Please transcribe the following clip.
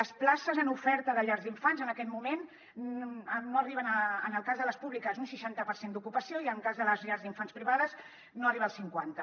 les places en oferta de llars d’infants en aquest moment no arriben a en el cas de les públiques un seixanta per cent d’ocupació i en el cas de les llars d’infants privades no arriba al cinquanta